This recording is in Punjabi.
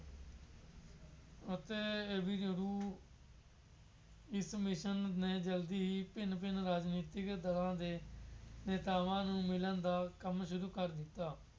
ਅਤੇ ਇਹ ਵੀ ਜਦੋਂ ਵੀ ਕਮਿਸ਼ਨ ਨੇ ਜਦ ਹੀ ਭਿੰਨ ਭਿੰਨ ਰਾਜਨੀਤਿਕ ਦਰਾਂ ਦੇ ਨੇਤਾਵਾਂ ਨੂੰ ਮਿਲਣ ਦਾ ਕੰੰਮ ਸ਼ੁਰੂ ਕਰ ਦਿੱਤਾ।